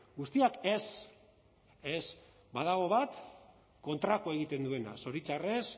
guztiak ez ez badago bat kontrakoa egiten duena zoritxarrez